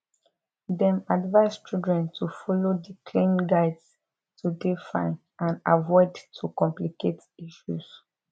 dem advise children to follow di clean guides to dey fine and avoid to complicate issues